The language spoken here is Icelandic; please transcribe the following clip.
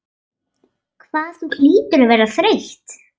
Hvað þú hlýtur að vera þreytt.